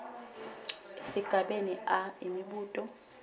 esigabeni a imibuto